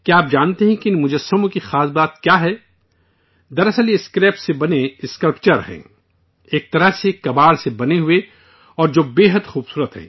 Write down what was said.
کیا آپ جانتے ہیں کہ ان مجسموں کی خاص بات کیا ہے؟ دراصل یہ اسکریپ سے بنے اسکلپچر ہیں، ایک طرح سے کباڑ سے بنے ہوئے اور جو بیحد خوبصورت ہیں